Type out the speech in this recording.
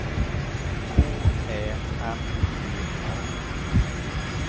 K Ä M P A D E